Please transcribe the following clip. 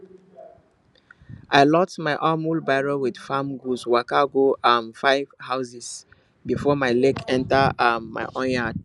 i load my um wheelbarrow with farm goods waka go um five houses before my leg enter um my own yard